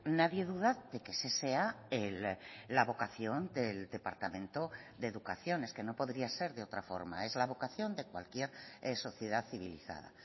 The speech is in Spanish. nadie duda de que ese sea la vocación del departamento de educación es que no podría ser de otra forma es la vocación de cualquier sociedad civilizada